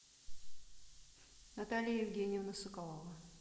наталья евгеньевна соколова